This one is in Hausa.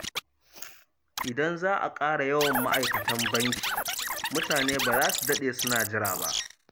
Idan za a ƙara yawan ma’aikatan banki, mutane ba za su daɗe suna jira ba.